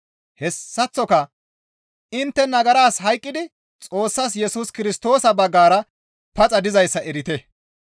Hessaththoka intte nagaras hayqqidi Xoossas Yesus Kirstoosa baggara paxa dizayssa erite.